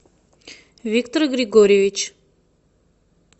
виктор григорьевич